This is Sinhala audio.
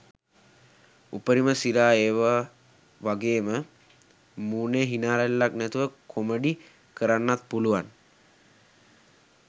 උපරිම සිරා ඒව වගේම මූනෙ හිනා රැල්ලක් නැතුව කොමඩි කරන්නත් පුළුවන්